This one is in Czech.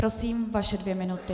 Prosím, vaše dvě minuty.